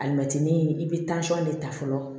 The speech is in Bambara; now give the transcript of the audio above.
Alimɛtini i bɛ de ta fɔlɔ